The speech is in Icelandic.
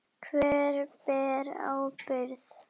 Hver ber ábyrgð?